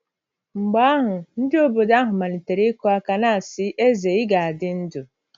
Mgbe ahụ, ndị obodo ahụ malitere “ ịkụ aka, na - asị: ‘ Eze,, ị ga - adị ndụ! ’”